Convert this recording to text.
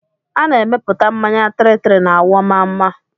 A na-emepụta mmanya 33 na Awọmmamma